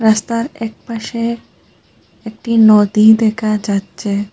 রাস্তার এক পাশে একটি নদী দেখা যাচ্ছে।